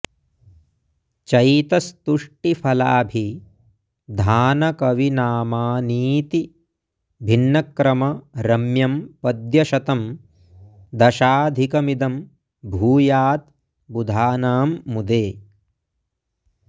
चैतस्तुष्टिफलाभिधानकविनामानीति भिन्नक्रम रम्यं पद्यशतं दशाधिकमिदं भूयाद् बुधानां मुदे